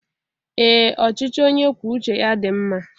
Ee ọchịchị onye kwuo uche ya dị mma.